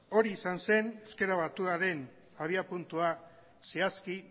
hori izan zen euskera batuaren abiapuntua zehazki